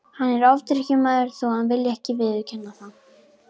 Hann er ofdrykkjumaður þó að hann vilji ekki viðurkenna það.